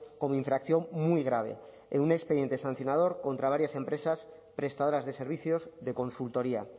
como infracción muy grave en un expediente sancionador contra varias empresas prestadoras de servicios de consultoría